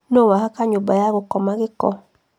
Nũ wahaka nyũmba ya gũkoma gĩko